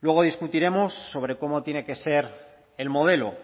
luego discutiremos sobre cómo tiene que ser el modelo